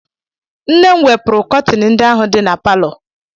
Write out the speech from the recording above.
Nne m wepụrụ kọtin ndị ahụ dị na palọ.